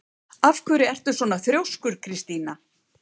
Af hverju ertu svona þrjóskur, Kristína?